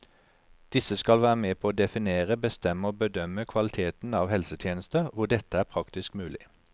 Disse skal være med på å definere, bestemme og bedømme kvaliteten av helsetjenester hvor dette er praktisk mulig.